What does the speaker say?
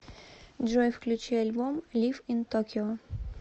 джой включи альбом лив ин токио